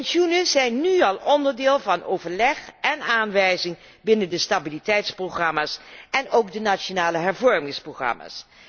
Pensioenen zijn nu al onderdeel van overleg en aanwijzing binnen de stabiliteitsprogramma's en ook de nationale hervormingsprogramma's.